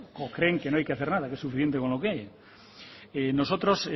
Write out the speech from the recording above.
o creen que no hay que hacer nada que es suficiente con lo que hay nosotros